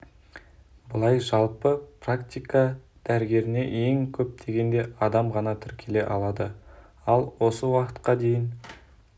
былай жалпы практика дәрігеріне ең көп дегенде адам ғана тіркеле алады ал осы уақытқа дейін